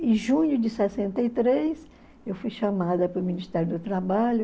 Em junho de sessenta e três eu fui chamada para o Ministério do Trabalho,